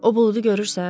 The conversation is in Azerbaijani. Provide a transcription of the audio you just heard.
O buludu görürsən?